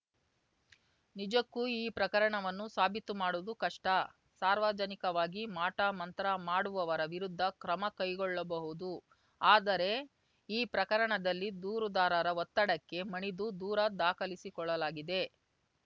ನಿಜಕ್ಕೂ ಈ ಪ್ರಕರಣವನ್ನು ಸಾಬೀತು ಮಾಡುವುದು ಕಷ್ಟ ಸಾರ್ವಜನಿಕವಾಗಿ ಮಾಟಮಂತ್ರ ಮಾಡುವವರ ವಿರುದ್ಧ ಕ್ರಮ ಕೈಗೊಳ್ಳಬಹುದು ಆದರೆ ಈ ಪ್ರಕರಣದಲ್ಲಿ ದೂರುದಾರರ ಒತ್ತಡಕ್ಕೆ ಮಣಿದು ದೂರ ದಾಖಲಿಸಿಕೊಳ್ಳಲಾಗಿದೆ